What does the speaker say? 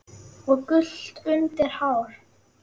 og gult undir hár.